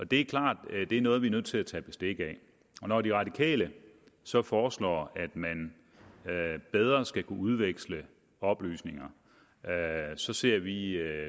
det er klart at det er noget vi er nødt til at tage bestik af når de radikale så foreslår at man bedre skal kunne udveksle oplysninger så ser vi